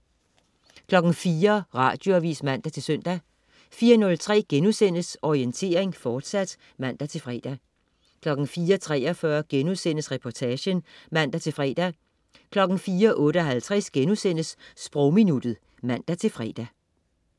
04.00 Radioavis (man-søn) 04.03 Orientering, fortsat* (man-fre) 04.43 Reportagen* (man-fre) 04.58 Sprogminuttet* (man-fre)